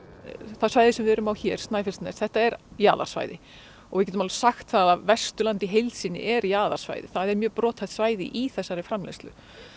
það svæði sem við erum á hér Snæfellsnes þetta er jaðarsvæði og við getum alveg sagt það að Vesturland í heild sinni er jaðarsvæði það er mjög brothætt svæði í þessari framleiðslu